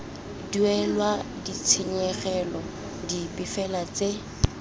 duelelwa ditshenyegelo dipe fela tse